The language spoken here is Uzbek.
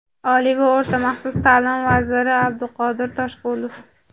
Oliy va o‘rta maxsus ta’lim vaziri Abduqodir Toshqulov:.